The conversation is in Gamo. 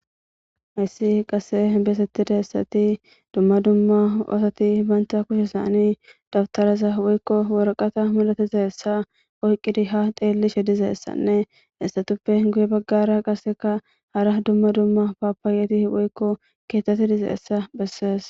hayssi qase beesettida essati dumma dumma osati bantha kushesaani dabtaraza woykko worqata malatiza essa oyqqidi ha teellishe dizeessanne hessatuppe guye baggara qaseka hara dumma dumma papaayeti woykko keethati dizeessa bessees